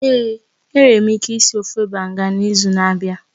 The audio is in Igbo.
Ee, enwere m ike ịsị ofe Banga n'izu na-abịa